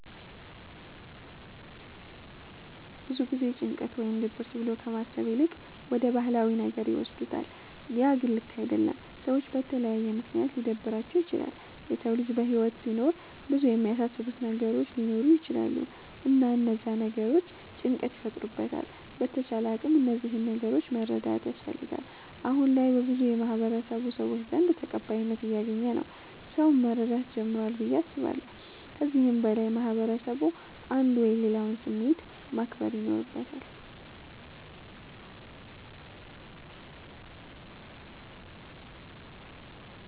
ብዙ ጊዜ ጭንቀት ወይም ድብርት ብሎ ከማሰብ ይልቅ ወደ ባህላዊ ነገር ይወስዱታለ ያ ግን ልክ አደለም። ሰዎች በተለያየ ምክንያት ሊደብራቸዉ ይችላል። የሰዉ ልጅ በህይወት ሲኖር ብዙ የሚያሳስቡት ነገሮች ሊኖሩ ይቸላሉ እና እነዛ ነገሮች ጭንቀት ይፈጥሩበታል በተቻለ አቅም እነዚህን ነገሮች መረዳት ያስፈልጋል። አሁነ ላይ በብዙ የማህበረሰቡ ሰዎች ዘንድ ተቀባይነት እያገኝ ነዉ ሰዉም መረዳት ጀምሯል ብዬ አስባለሁ። ከዚህም በላይ ማህበረስቡ አንዱ የሌላዉን ስሜት ማክበር ይኖርበታል።